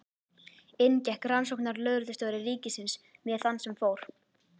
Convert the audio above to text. Inn gekk rannsóknarlögreglustjóri ríkisins með þann sem fór.